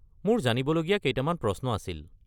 মোৰ জানিবলগীয়া কেইটামান প্ৰশ্ন আছিল।